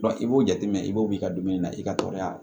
i b'o jateminɛ i b'o bila i ka dumuni na i ka tɔɔrɔya